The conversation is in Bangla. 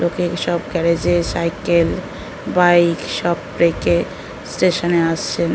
লোকে এইসব গ্যারেজ সাইকেল বাইক সব রেকে স্টেশনে আসছেন।